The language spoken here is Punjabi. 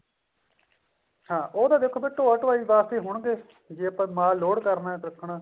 ਹਾਂ ਉਹ ਤਾਂ ਦੇਖੋ ਫ਼ੇਰ ਢੋਆ ਢਵਾਈ ਵਾਸਤੇ ਹੋਣਗੇ ਜੇ ਆਪਾਂ ਮਾਲ load ਕਰਨਾ ਰੱਖਣਾ